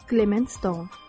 Klement Stone.